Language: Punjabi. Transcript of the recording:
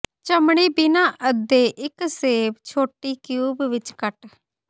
ਚਮੜੀ ਬਿਨਾ ਅੱਧੇ ਇੱਕ ਸੇਬ ਛੋਟੇ ਕਿਊਬ ਵਿੱਚ ਕੱਟ